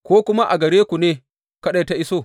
Ko kuma a gare ku ne kaɗai ta iso?